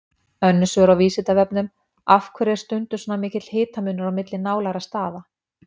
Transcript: Önnur svör á Vísindavefnum: Af hverju er stundum svona mikill hitamunur á milli nálægra staða?